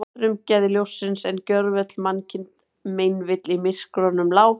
Frumglæði ljóssins, en gjörvöll mannkind meinvill í myrkrunum lá.